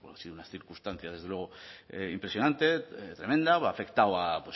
sido unas circunstancias desde luego impresionante tremenda ha afectado a